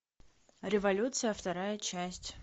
революция вторая часть